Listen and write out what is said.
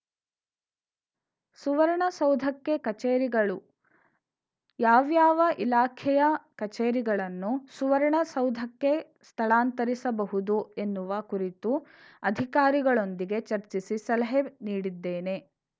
ಸುವರ್ಣಸೌಧಕ್ಕೆ ಕಚೇರಿಗಳು ಯಾವ್ಯಾವ ಇಲಾಖೆಯ ಕಚೇರಿಗಳನ್ನು ಸುವರ್ಣಸೌಧಕಕ್ಕೆ ಸ್ಥಳಾಂತರಿಸಬಹುದು ಎನ್ನುವ ಕುರಿತು ಅಧಿಕಾರಿಗಳೊಂದಿಗೆ ಚರ್ಚಿಸಿ ಸಲಹೆ ನೀಡಿದ್ದೇನೆ